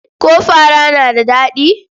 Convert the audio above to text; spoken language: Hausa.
Ko fara na da daɗi?